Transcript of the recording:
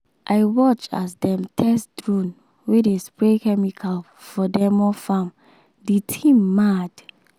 i watch as dem test drone wey dey spray chemical for demo farm the thing mad!